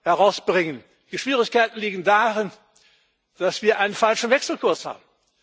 herausbringen. Die Schwierigkeiten liegen darin, dass wir einen falschen Wechselkurs haben.